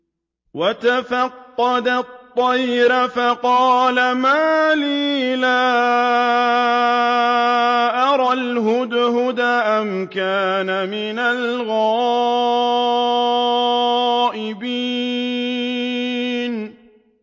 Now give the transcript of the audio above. وَتَفَقَّدَ الطَّيْرَ فَقَالَ مَا لِيَ لَا أَرَى الْهُدْهُدَ أَمْ كَانَ مِنَ الْغَائِبِينَ